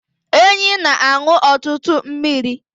Enyí na-aṅụ ọtụtụ mmiri